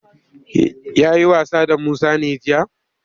Ya yi wasa da su Musa ne jiya?